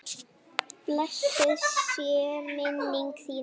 Blessuð sé minning þín mamma.